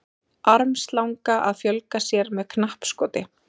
armslanga að fjölga sér með knappskoti